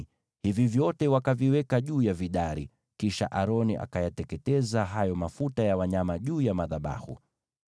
hivi vyote wakaviweka juu ya vidari, kisha Aroni akayateketeza hayo mafuta ya wanyama juu ya madhabahu.